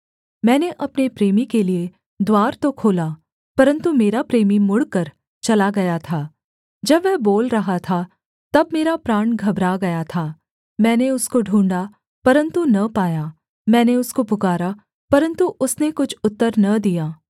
मैंने अपने प्रेमी के लिये द्वार तो खोला परन्तु मेरा प्रेमी मुड़कर चला गया था जब वह बोल रहा था तब मेरा प्राण घबरा गया था मैंने उसको ढूँढ़ा परन्तु न पाया मैंने उसको पुकारा परन्तु उसने कुछ उत्तर न दिया